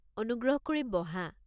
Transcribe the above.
অনুগ্ৰহ কৰি বহা।